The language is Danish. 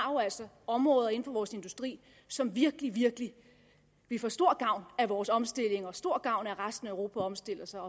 områder inden for vores industri som virkelig virkelig vil få stor gavn af vores omstilling og stor gavn af at resten af europa omstiller sig